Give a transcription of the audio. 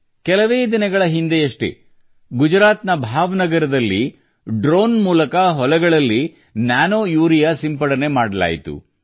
ಕೆಲವೇ ದಿನಗಳ ಹಿಂದೆಯಷ್ಟೇ ಗುಜರಾತ್ ನ ಭಾವನಗರದಲ್ಲಿ ಡ್ರೋನ್ ಮೂಲಕ ಹೊಲಗಳಲ್ಲಿ ಯೂರಿಯಾ ಸಿಂಪರಣೆ ಮಾಡಲಾಯಿತು